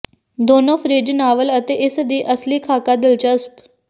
ਦੋਨੋ fridge novel ਅਤੇ ਇਸ ਦੀ ਅਸਲੀ ਖਾਕਾ ਦਿਲਚਸਪ